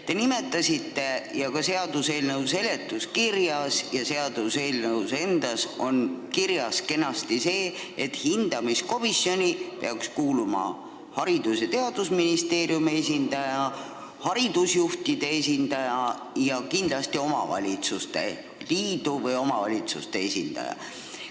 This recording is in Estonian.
Te märkisite ja see on ka seaduseelnõu seletuskirjas ja seaduseelnõus endas kenasti kirjas, et hindamiskomisjoni peaks kuuluma Haridus- ja Teadusministeeriumi esindaja, haridusjuhtide esindaja ja kindlasti ka omavalitsuste liidu esindaja.